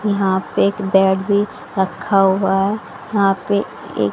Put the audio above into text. यहां पे एक बेड भी रखा हुआ ऐ यहां पे ए--